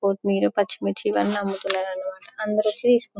కొత్మిర్ పర్చి మిర్చి అన్ని అమ్ముతున్నారు అన్నమాట అందరు వొచ్చి--